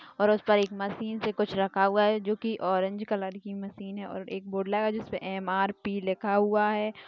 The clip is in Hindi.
और उस पर एक मशीन पे कुछ रखा हुआ है जो की ऑरेज कलर की मशीन है और एक बोर्ड लगा है जिसमें एम आर पी लिखा हुआ है।